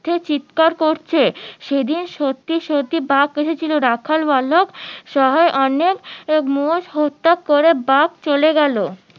মিথ্যে চিৎকার করেছে সেদিন সত্যি সত্যি বাঘ এসিছিলো রাখাল বালক বাঘ চলে গেলো